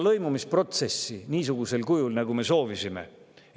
Lõimumisprotsessi niisugusel kujul, nagu me soovisime, ei ole toimunud.